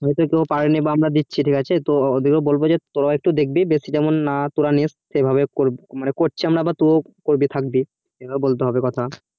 ওটাই তো কারণ আমরা দিচ্ছি ঠিক আছে তো বলবো যে তোরাও একটু দেখবি যে বেশি যেমন না তোরা নিস্ সেভাবে করছি আমরা বা টু করবি থাকবি তোকেও বলতে হবে কথা